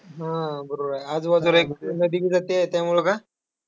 हम्म बरोबर आहे. आजूबाजूला एक नदी बी जातेय. त्यामुळं का?